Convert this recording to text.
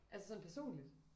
Altså sådan personligt?